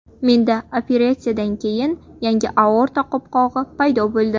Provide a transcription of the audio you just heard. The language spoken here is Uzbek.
Menda operatsiyadan keyin yangi aorta qopqog‘i paydo bo‘ldi.